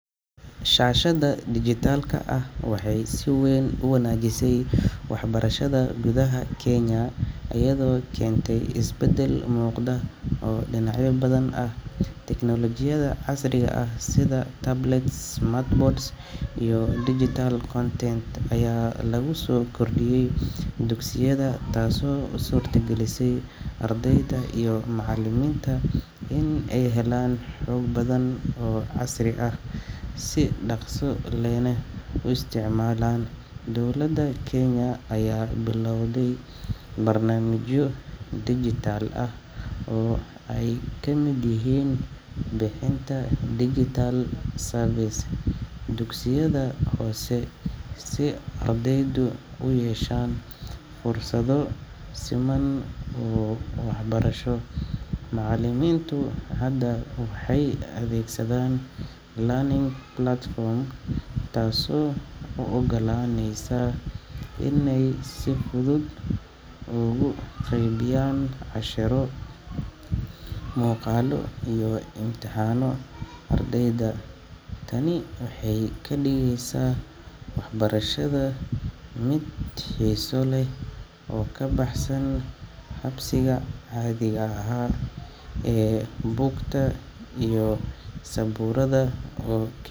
Shashada dijitalka ah waxay si weyn u wanaajisay waxbarashada gudaha Kenya iyadoo keentay isbeddel muuqda oo dhinacyo badan ah. Teknolojiyadda casriga ah sida tablets, smartboards, iyo digital content ayaa lagu soo kordhiyey dugsiyada, taasoo u suurtagelisay ardayda iyo macallimiinta in ay helaan xog badan oo casri ah, si dhakhso lehna u isticmaalaan. Dowladda Kenya ayaa bilawday barnaamijyo dijital ah oo ay ka mid yihiin bixinta digital devices dugsiyada hoose si ardaydu u yeeshaan fursado siman oo waxbarasho. Macallimiintu hadda waxay adeegsadaan e-learning platforms taasoo u oggolaaneysa inay si fudud ugu qaybiyaan casharro, muuqaallo, iyo imtixaanno ardayda. Tani waxay ka dhigaysaa waxbarashada mid xiiso leh oo ka baxsan habkii caadiga ahaa ee buugta iyo sabuuradda oo.